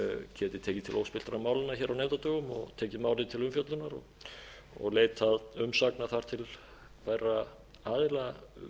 tekið til óspilltra málanna hér á nefndadögum og tekið málið til umfjöllunar og leitað umsagnar þar til bærra aðila um þessar